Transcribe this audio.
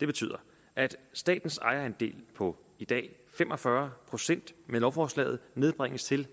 det betyder at statens ejerandel på i dag fem og fyrre procent med lovforslaget nedbringes til